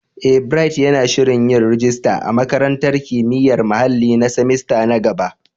Eh, Bright yana shirin yin rajista a Makarantar Kimiyyar Muhalli na semester na gaba.